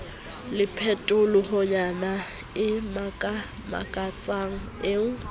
le phetohonyana e makamakatsang eo